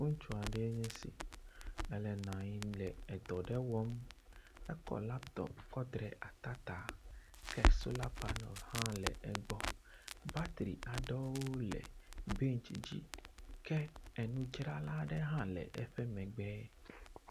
Ŋutsu aɖee nye esi ele nɔ anyi le edɔ aɖe wɔm. Ekɔ laptɔp kɔ da ɖe ata ta. Ke sola panel hã le egbɔ. Bateri aɖewo le bentsi dzi ke enudrala aɖe hã le eƒe megbe.